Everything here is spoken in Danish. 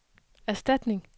erstatning